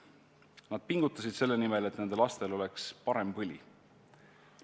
Nad pingutasid selle nimel, et nende lastel oleks parem põli.